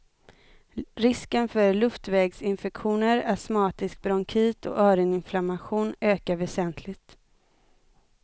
Risken för luftvägsinfektioner, astmatisk bronkit och öroninflammation ökar väsentligt.